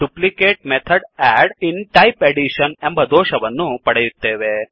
duplicate method add in type addition ಎಂಬ ದೋಷವನ್ನು ಪಡೆಯುತ್ತೇವೆ